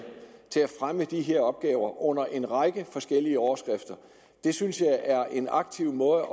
til at fremme de her opgaver under en række forskellige overskrifter det synes jeg er en aktiv måde